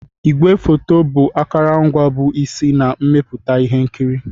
Igwefoto bụ akụrụngwa bụ isi na mmepụta ihe nkiri